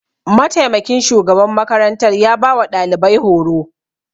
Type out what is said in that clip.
Mataimakin shugaban makarantar ya ba wa ɗalibai horo.